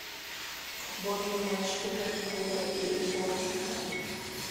футбольный матч ливерпуля и борнмута